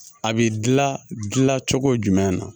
A bi gilan gilan cogo jumɛn na